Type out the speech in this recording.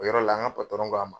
O yɔrɔ la, an ka ko a ma